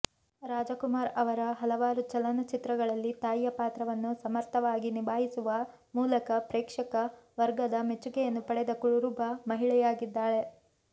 ರಾಜಕುಮಾರ್ ಅವರ ಹಲವಾರು ಚಲನಚಿತ್ರಗಳಲ್ಲಿ ತಾಯಿಯ ಪಾತ್ರವನ್ನು ಸಮರ್ಥವಾಗಿ ನಿಭಾಯಿಸುವ ಮೂಲಕ ಪ್ರೇಕ್ಷಕ ವರ್ಗದ ಮೆಚ್ಚುಗೆಯನ್ನು ಪಡೆದ ಕುರುಬ ಮಹಿಳೆಯಾಗಿದ್ದಾಳೆ